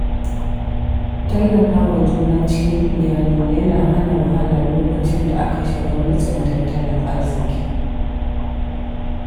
Tallafa wa juna cikin iyali yana hana wahala lokacin da aka shiga matsin tattalin arziki.